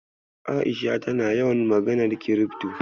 A'isha tana yawan maganar kirifto.